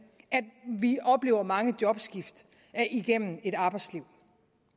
at vi oplever mange jobskift igennem et arbejdsliv